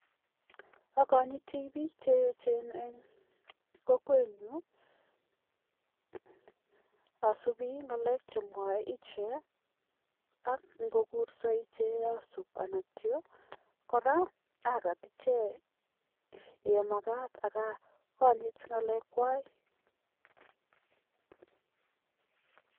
Agonyiti biik che eechen en kokwenyu. Asubi ng'alek che mwoe ichek, ak ingokurso ichek asub. Kora agat ichek kou ye magaat ak akonyit ng'alekwak.